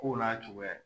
Kow n'a cogoya